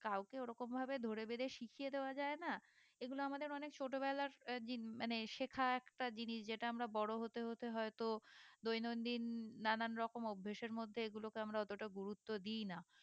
কাউকে ওরকম ভাবে ধরে বেঁধে শিখিয়ে দেওয়া যায় না এগুলো আমাদের অনেক ছোট বেলার মানে শেখা একটা জিনিস যেটা আমরা বড়ো হতে হতে হয়তো দৈন দিন নানান রকমের অভ্যেসের মধ্যে এগুলোকে আমরা অতটা গুরুত্ব দিইনা